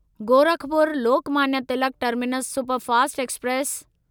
Gorakhpur Lokmanya Tilak terminus superfast express